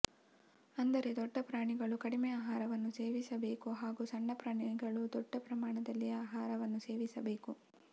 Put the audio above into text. ಅಂದರೆ ದೊಡ್ಡ ಪ್ರಾಣಿಗಳು ಕಡಿಮೆ ಆಹಾರವನ್ನು ಸೇವಿಸಬೇಕು ಹಾಗು ಸಣ್ಣ ಪ್ರಾಣಿಗಳು ದೊಡ್ಡ ಪ್ರಮಾಣದಲ್ಲಿ ಆಹಾರವನ್ನು ಸೇವಿಸಬೇಕು